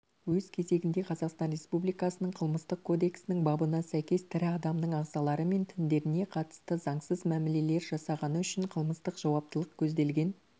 өз кезегінде қазақстан республикасының қылмыстық кодексінің бабына сәйкес тірі адамның ағзалары мен тіндеріне қатысты заңсыз мәмілелер жасағаны үшін қылмыстық жауаптылық көзделген